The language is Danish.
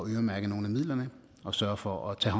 øremærke nogle af midlerne og sørge for at tage